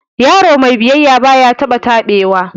Yaro mai biyayya baya taba tabewa